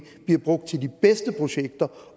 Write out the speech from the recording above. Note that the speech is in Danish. bliver brugt til de bedste projekter